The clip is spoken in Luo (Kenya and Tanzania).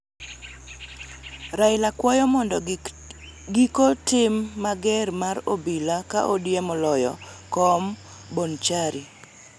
Raila kwayo mondo giko tim mager mar obila ka ODM oloyo kom ma Bonchari